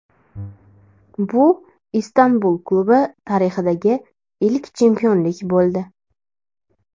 Bu Istanbul klubi tarixidagi ilk chempionlik bo‘ldi.